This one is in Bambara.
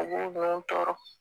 U b'o dɔn u tɔɔrɔ